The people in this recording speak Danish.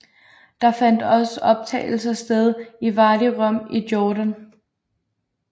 Der fandt også optagelser sted i Wadi Rum i Jordan